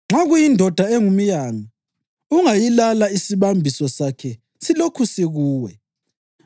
Nxa kuyindoda engumyanga, ungayilala isibambiso sakhe silokhu sikuwe.